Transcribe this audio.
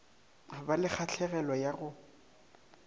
ba le kgahlegelo ya go